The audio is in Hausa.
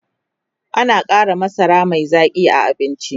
ana Kara masara Mai Zaƙi a abinci